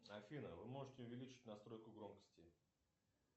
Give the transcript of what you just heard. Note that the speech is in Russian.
афина вы можете увеличить настройку громкости